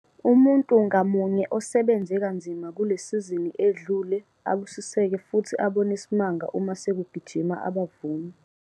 Umuntu ngamunye osebenze kanzima kule sizini edlule abusiseke futhi abone isimanga uma sekugijima abavuni!